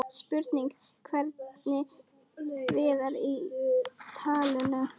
Spurning hvernig Viðar er í taninu?